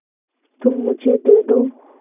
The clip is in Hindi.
तुम मुझे दे दो